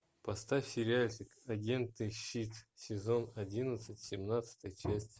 поставь сериальчик агент и щит сезон одиннадцать семнадцатая часть